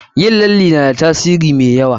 Yin lalle na da tasiri mai yawa.